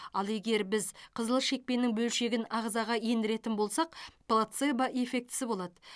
ал егер біз қызыл шекпеннің бөлшегін ағзаға ендіретін болсақ плацебо эффектісі болады